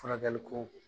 Furakɛli ko